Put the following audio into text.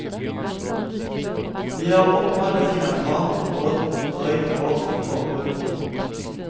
Vi har oppmagasinert vann for et drøyt års forbruk.